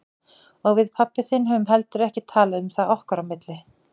Og við pabbi þinn höfum heldur ekki talað um það okkar á milli.